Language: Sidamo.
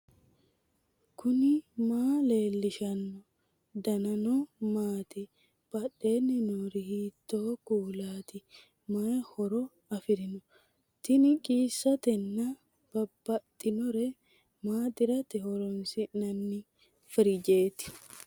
knuni maa leellishanno ? danano maati ? badheenni noori hiitto kuulaati ? mayi horo afirino ? tini qiissatenna babaxinore maaxirate horoonsi'nanni firijeeti